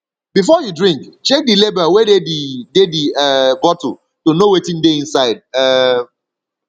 before you drink check di label wey dey di dey di um bottle to know wetin dey inside um